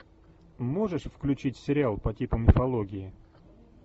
можешь включить сериал по типу мифологии